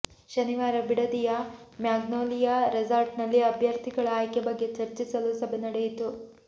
ಶನಿವಾರ ಬಿಡದಿಯ ಮ್ಯಾಗ್ನೋಲಿಯಾ ರೆಸಾರ್ಟ್ನಲ್ಲಿ ಅಭ್ಯರ್ಥಿಗಳ ಆಯ್ಕೆ ಬಗ್ಗೆ ಚರ್ಚಿಸಲು ಸಭೆ ನಡೆಯಿತು